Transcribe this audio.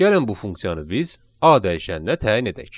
Gəlin bu funksiyanı biz A dəyişəninə təyin edək.